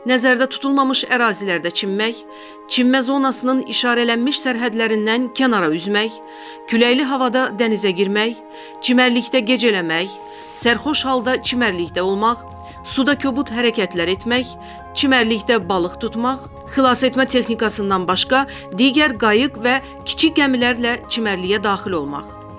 Nəzərdə tutulmamış ərazilərdə çimmək, çimmə zonasının işarələnmiş sərhədlərindən kənara üzmək, küləkli havada dənizə girmək, çimərlikdə gecələmək, sərxoş halda çimərlikdə olmaq, suda kobud hərəkətlər etmək, çimərlikdə balıq tutmaq, xilasetmə texnikasından başqa digər qayıq və kiçik gəmilərlə çimərliyə daxil olmaq.